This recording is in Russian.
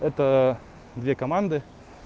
это две команды